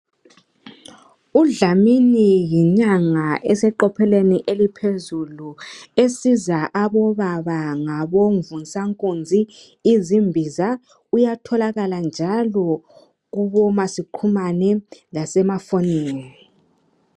Udlamini yinyanga eseqophelweni oluphezulu esiza abobaba ngabo mvunsankunzi izimbiza uyatholakala njalo kubo masixhumane lakobo makhalekhukhwini.